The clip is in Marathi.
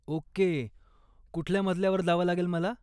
ओके, कुठल्या मजल्यावर जावं लागेल मला?